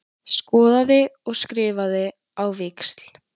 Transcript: Skoðaði og skrifaði á víxl.